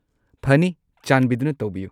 ꯐꯅꯤ꯫ ꯆꯥꯟꯕꯤꯗꯨꯅ ꯇꯧꯕꯤꯌꯨ!